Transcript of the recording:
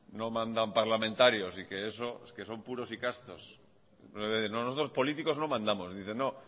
no mandan parlamentarios que esos son puros y castos nosotros políticos no mandamos dice no